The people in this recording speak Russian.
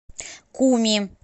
куми